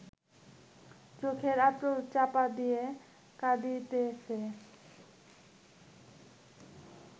চোখে আঁচল-চাপা দিয়া কাঁদিতেছে